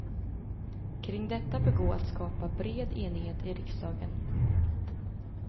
Kring detta bör gå att skapa bred enighet i riksdagen.